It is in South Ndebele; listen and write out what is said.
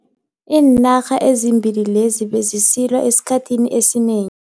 Iinarha ezimbili lezi bezisilwa esikhathini esineng